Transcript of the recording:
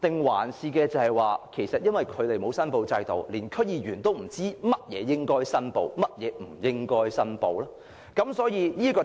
還是，因為沒有申報制度，連區議員亦不知道甚麼要申報，甚麼無需申報呢？